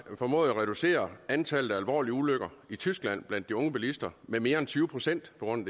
formået at reducere antallet af alvorlige ulykker i tyskland blandt de unge bilister med mere end tyve procent på grund